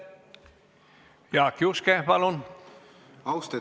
Jaak Juske, palun!